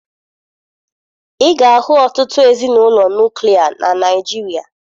Ị ga-ahụ ọtụtụ ezinụlọ nuklia na Naịjirịa